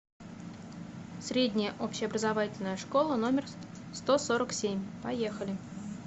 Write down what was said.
средняя общеобразовательная школа номер сто сорок семь поехали